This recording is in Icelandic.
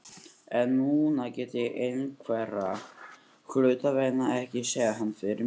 En núna get ég einhverra hluta vegna ekki séð hann fyrir mér.